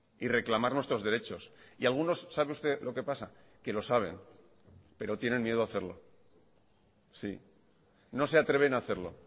y reclamar nuestros derechos y algunos sabe usted lo que pasa que lo saben pero tienen miedo a hacerlo sí no se atreven a hacerlo